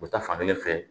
U bɛ taa fan kelen fɛ